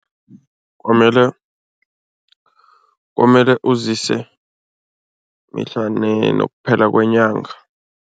Kwamele kwamele uzise mihla nokuphela kwenyanga.